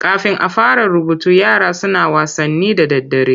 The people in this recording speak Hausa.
Kafin a fara rubutu yara suna wasanni da daddare.